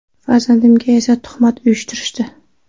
Farzandimga esa tuhmat uyushtirishdi.